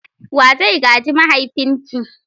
Wa zai gaji mahaifinki?